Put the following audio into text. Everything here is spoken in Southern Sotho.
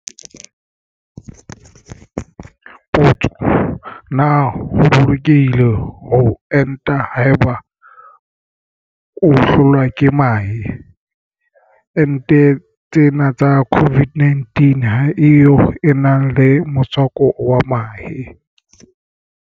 Potso. Na ho bolokehile ho enta haeba o hlolwa ke mahe? Enteng tsena tsa COVID-19 ha e yo e nang le motswako wa mahe.